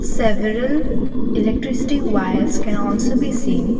several electricity wires can also be seen.